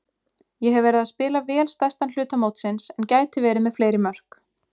Ég hef verið að spila vel stærstan hluta mótsins en gæti verið með fleiri mörk.